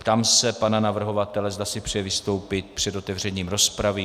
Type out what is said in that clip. Ptám se pana navrhovatele, zda si přeje vystoupit před otevřením rozpravy.